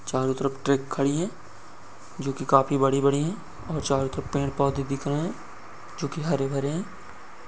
चारो तरफ ट्रक खड़ी है जो की काफी बड़ी बड़ी हैं और चारो तरफ पेड़ पौधे दिख रहे है जो के हरे भरे हैं।